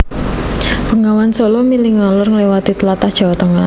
Bengawan Sala mili ngalor ngliwati tlatah Jawa Tengah